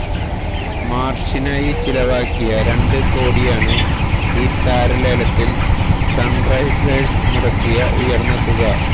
മാര്ഷിനായി ചിലവാക്കിയ രണ്ട് കോടിയാണ് ഈ താരലേലത്തില് സണ്റൈസേഴ്സ് മുടക്കിയ ഉയര്ന്ന തുക